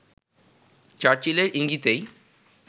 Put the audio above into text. চার্চিলের ইঙ্গিতেই